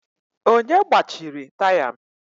Onye gbachiri taya m?